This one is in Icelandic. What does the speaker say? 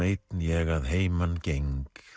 einn ég að heiman geng